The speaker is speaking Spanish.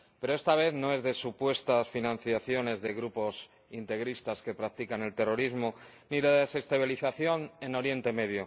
pero esta vez no es de supuestas financiaciones de grupos integristas que practican el terrorismo, ni de la desestabilización en Oriente Próximo.